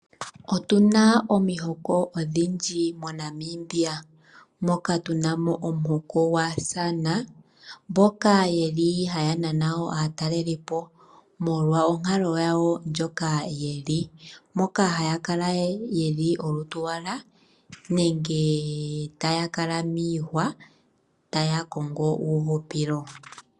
Otuna omihoko odhindji moNamibia moka tunamo omuhoka gwaa San mboka yeli haya nana aatalelipo molwa onkalo yawo moka yeli moka haya kala yeli olutu lwowala nenge taya kala miihwa taya kongo uuhupilo.